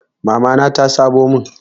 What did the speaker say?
Mamana ta sabon mun.